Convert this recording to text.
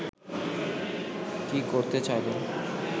কী করতে চাইলেন